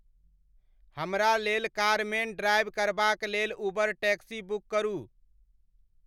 हमरा लेल कारमेन ड्राइव करबाक लेल उबर टैक्सी बुक करू